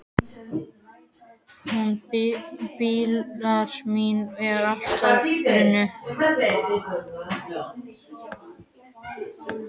Hún Dúlla mín er alltaf ofan í búrinu.